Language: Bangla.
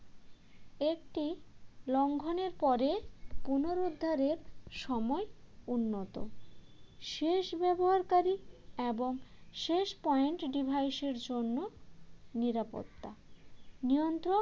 একটি লঙ্ঘনের পরে পুনরুদ্ধারের সময় উন্নত শেষ ব্যবহারকারী এবং শেষ point device এর জন্য নিরাপত্তা নিয়ন্ত্রক